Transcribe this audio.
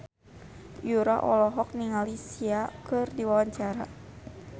Yura olohok ningali Sia keur diwawancara